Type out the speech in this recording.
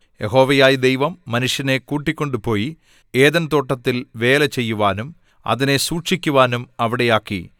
യഹോവയായ ദൈവം മനുഷ്യനെ കൂട്ടിക്കൊണ്ട് പോയി ഏദെൻ തോട്ടത്തിൽ വേലചെയ്യുവാനും അതിനെ സൂക്ഷിക്കുവാനും അവിടെ ആക്കി